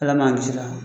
Ala man kisi a la